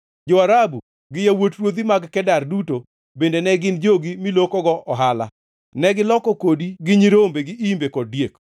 “ ‘Jo-Arabu gi yawuot ruodhi mag Kedar duto bende ne gin jogi milokogo ohala. Negiloko kodi gi nyirombe, gi imbe, kod diek.